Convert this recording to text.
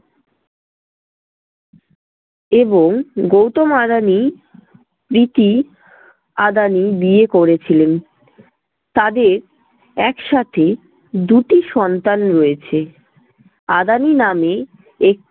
এবং গৌতম আদানি প্রীতি আদানি বিয়ে করেছিলেন। তাদের একসাথে দুটি সন্তান রয়েছে। আদানি নামে